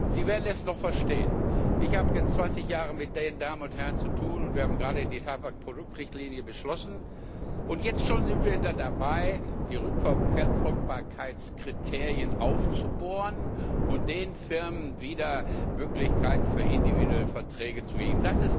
Sie werden es noch verstehen. Ich habe jetzt 20 Jahre mit den Damen und Herren zu tun, wir haben gerade die Tabakproduktrichtlinie beschlossen, und jetzt sind wir schon dabei, die Rückverfolgbarkeitskriterien aufzubohren und den Firmen wieder Möglichkeiten für individuelle Verträge zu geben.